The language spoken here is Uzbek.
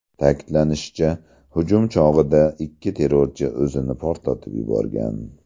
Ta’kidlanishicha, hujum chog‘ida ikki terrorchi o‘zini portlatib yuborgan.